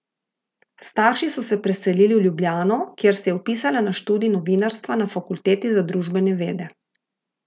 S starši so se preselili v Ljubljano, kjer se je vpisala na študij novinarstva na fakulteti za družbene vede.